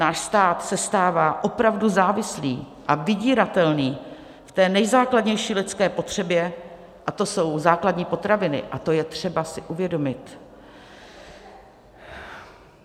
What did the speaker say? Náš stát se stává opravdu závislý a vydíratelný v té nejzákladnější lidské potřebě, a to jsou základní potraviny, a to je třeba si uvědomit.